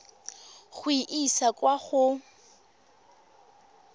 go e isa kwa go